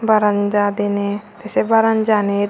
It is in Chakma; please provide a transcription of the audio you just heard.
baranja diney te se baranja anit.